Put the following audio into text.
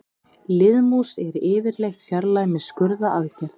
Liðmús er yfirleitt fjarlægð með skurðaðgerð.